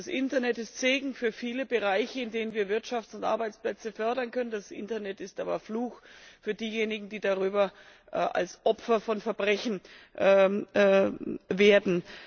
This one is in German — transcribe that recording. Das Internet ist Segen für viele Bereiche, in denen wir Wirtschaft und Arbeitsplätze fördern können, das Internet ist aber Fluch für diejenigen, die darüber Opfer von Verbrechen werden.